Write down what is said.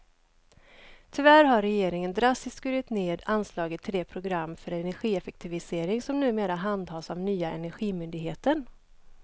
Tyvärr har regeringen drastiskt skurit ned anslaget till det program för energieffektivisering som numera handhas av nya energimyndigheten.